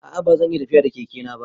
A'a ba zan iya tafiya da Keke na ba.